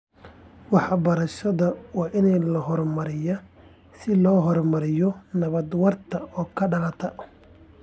Waxbarashada waa in la horumariyaa si loo horumariyo nabad waarta oo ka dhalata .